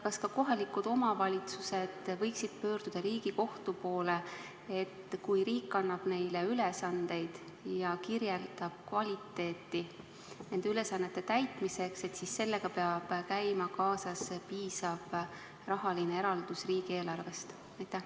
Kas ka kohalikud omavalitsused võiksid pöörduda Riigikohtu poole, et kui riik annab neile ülesandeid ja kirjeldab nende ülesannete täitmise kvaliteeti, siis sellega peab käima kaasas piisav rahaline eraldis riigieelarvest?